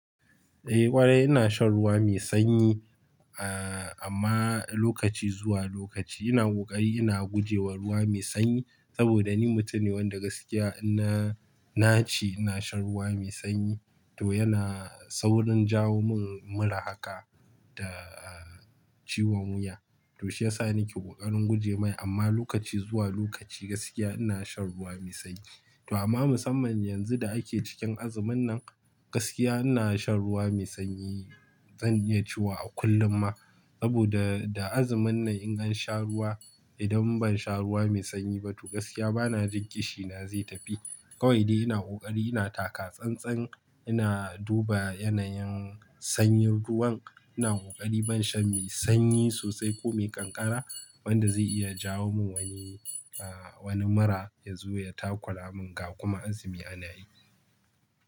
Eh ƙwarai ina shan ruwa mai sanyi, ah amma lokaci zuwa lokaci ina ƙoƙari ina gujewa ruwa mai sanyi saboda ni mutum ne wanda gaskiya inna naci ina shan ruwa mai sanyi to yana saurin jawo min mura haka da ciwon wuya. To shi ya sa nake ƙoƙarin guje ma amma lokaci zuwa lokaci gaskiya ina shan ruwa mai sanyi. To amma musamman yanzu da ake cikin azumin nan gaskiya ina shan ruwa mai sanyi zan iya cewa a kullum ma saboda da azumin nan in an sha ruwa idan ban sha ruwa mai sanyi ba to gaskiya bana jin ƙishina zai tafi. Kawai dai ina ƙoƙari ina taka tsantsan ina duba yanayin sanyin ruwan ina ƙoƙari ban shan mai sanyi sosai ko mai ƙanƙara wanda zai iya jawo min wani, wani mura ya zo ya takura mun ga kuma azumi ana yi.